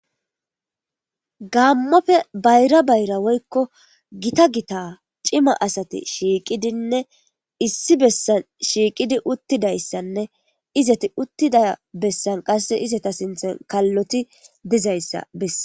gammoppe bayra bayra woykko gita gita cima asati shiiqidinne issi bessan shiiqidi uttidayssanne izati uttida bessan qasse izeta sinthan kalloti dizayssa bess